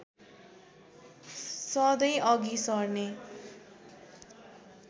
सधैँ अघि सर्ने